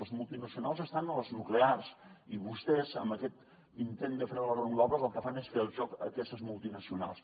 les multinacionals estan a les nuclears i vostès amb aquest intent de fre de les renovables el que fan és fer el joc a aquestes multinacionals